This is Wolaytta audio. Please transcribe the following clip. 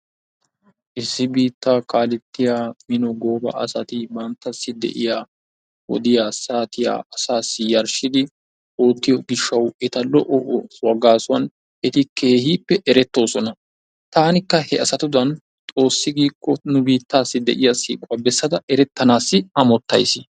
Issi biittaa kaalettiya mino gooba asati banttassi de'iya wodiya, saatiya asaassi yarshshidi oottiyo gishshaassi eta lo"o oosuwan eti keehippe erettoosona. Taanikka he asatudan xoossi giikko nu biittaassi de'iya siiquwa bessanaassi amottays.